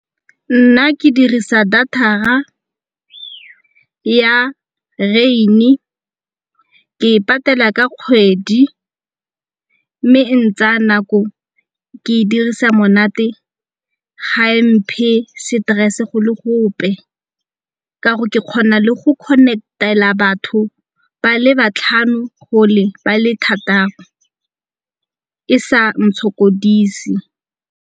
Nna ke dirisa data-ra ya Rain-e. Ke e patela ka kgwedi mme e ntsaya nako, ke e dirisa monate ga e mphe stress-e go le gope ka gore ke kgona le go connect-ele batho ba le batlhano gole ba le thataro e sa ntshokodise.